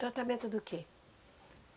Tratamento do quê?